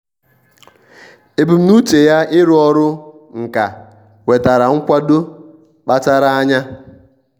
ebumnuche ya ịrụ ọrụ nka nwetara nkwado kpachara anya.